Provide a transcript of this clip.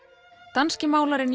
danski málarinn